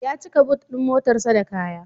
Ya cika but ɗin motarsa da kaya.